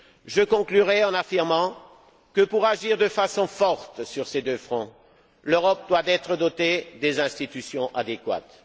Je conclurai en affirmant que pour agir de façon forte sur ces deux fronts, l'Europe doit être dotée des institutions adéquates.